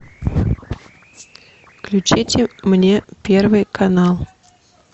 включите мне первый канал